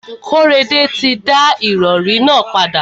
Kóredé ti da ìrọrí nà padà.